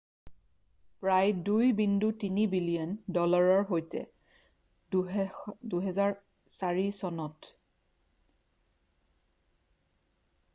প্ৰায় $2.3 বিলিয়ন ডলাৰৰ সৈতে 2008 চনত বেটেনে 400 আমেৰিকাৰ সৰ্বোচ্চ ধনীৰ তালিকাত 190 নং স্থান দখল কৰিছিল